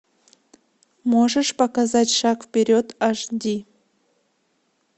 можешь показать шаг вперед аш ди